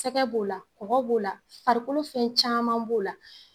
Sɛgɛ b'o la kɔgɔ b'o la farikolo fɛn caman b'o la